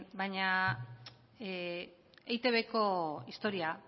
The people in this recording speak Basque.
baina eitbko historia